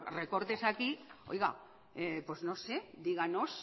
recortes aquí pues no sé díganos